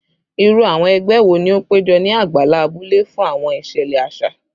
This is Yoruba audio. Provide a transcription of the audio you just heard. Iru awọn ẹgbẹ wo ni o pejọ ni agbala abule fun awọn iṣẹlẹ aṣa?